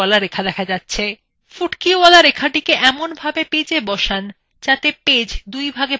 ফুটকিওয়ালা রেখাটিকে এমনভাবে পেজএ বসান যাতে পেজ the দুইভাগে ভাগ হয়ে যায়